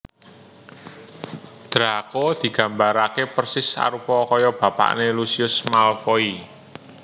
Draco digambarake persis arupa kaya bapakne Lucius Malfoy